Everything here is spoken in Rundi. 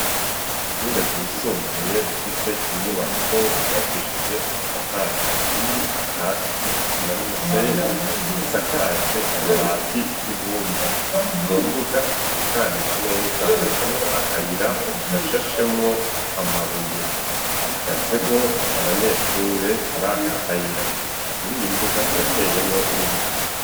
Ishure ryisumbuye rifise inyubako ryubakishije amatafari ahiye akatiye n'isima n'umusenyi, isakaje amabati y'ibumba. Mu mbuga itunganije neza hacamwo akayira gashashemwo amabuye. Hahagazemo abanyeshure muri aka kayira. Muri iyi mbuga harateyemwo n'ibiti.